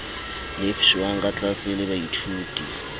lefshwang ka tlaase le baithaopi